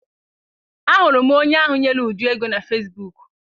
A hụrụ m onye ahụ nyere Uju ego na fesibuuku.